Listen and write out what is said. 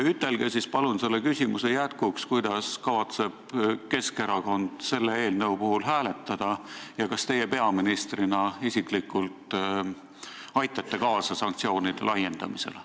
Ütelge palun selle küsimuse jätkuks, kuidas kavatseb Keskerakond selle eelnõu puhul hääletada ja kas teie peaministrina isiklikult aitate kaasa sanktsioonide laiendamisele.